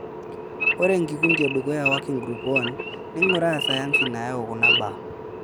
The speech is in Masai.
Ore enkikundi e dukuya Working Group I:neinguraa sayansi nayau kuna baa.